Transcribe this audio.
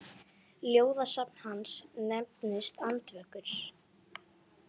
Ljóðasafn hans nefnist Andvökur.